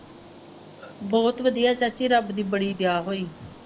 ਬਹੁਤ ਵਧੀਆ ਚਾਚੀ ਰੱਬ ਦੀ ਬੜੀ ਦਿਆ ਹੋਈ।